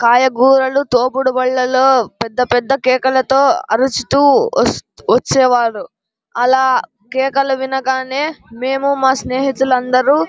కాయగూరలు తోపడి బండులో పెద్ద పెద్ద కేకలతో అరుస్తూ వచ్చేవారు. ఆలా కేకలు వినగానే నేను మా స్నేహితులు అందరు--